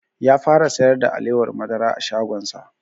Ya fara sayar da alewar madara a shagon sa